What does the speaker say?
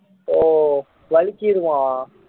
ஓ வழுக்கிருமா